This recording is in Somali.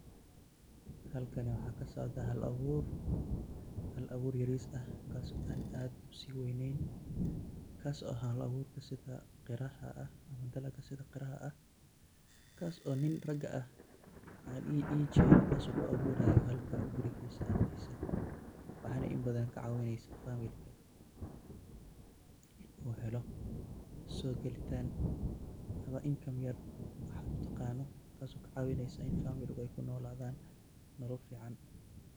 Halkan waxa ka socdaa hal abuur hal abuur yariis ah, kaaso aan aad usii weneen, kaso ah hal abuur sida qaraha ah, kaso nin rag ah ku abuurayo gurigiisa agtiisa, kaso u ka helayo income yar. Taso ka cawineysa in family ga ey ku nolaadan Nolol fican.